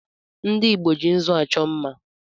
Ndị Igbo ji nzụ achọ mma